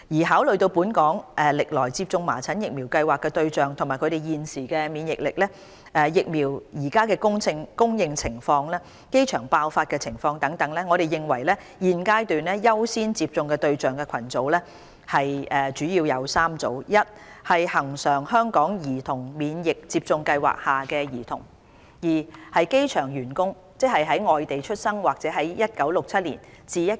考慮到本港歷來接種麻疹疫苗計劃的對象及他們現時的免疫力，疫苗的供應情況，機場爆發的情況等，我們認為現階段優先接種的對象主要為3個群組： 1恆常香港兒童免疫接種計劃下的兒童； 2機場員工；及3醫院管理局的醫護人員。